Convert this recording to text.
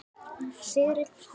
Sigrid hlær.